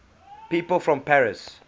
people from paris